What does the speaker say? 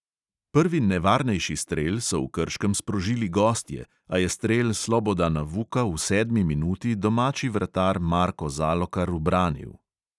Prvi nevarnejši strel so v krškem sprožili gostje, a je strel slobodana vuka v sedmi minuti domači vratar marko zalokar ubranil.